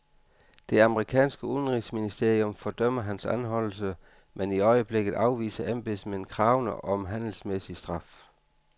Det amerikanske udenrigsministerium fordømmer hans anholdelse, men i øjeblikket afviser embedsmænd kravene om handelsmæssig straf.